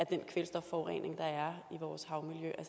den kvælstofforurening der er i vores havmiljø